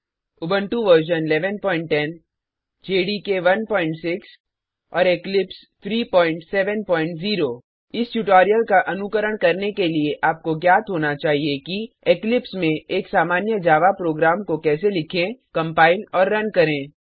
Ubuntu version 1110 JDK 16 और Eclipse 370 इस tutorial का अनुकरण करने के लिए आपको ज्ञात होना चाहिए कि इक्लिप्स में एक सामान्य जावा प्रोग्राम को कैसे लिखें कंपाइल और रन करें